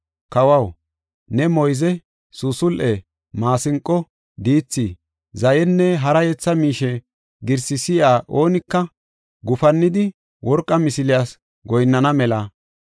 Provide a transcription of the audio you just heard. Kawaw, ne moyze, suusul7e, maasinqo, diithi, zayenne hara yetha miishe girsi si7iya oonika gufannidi, worqa misiliyas goyinnana mela,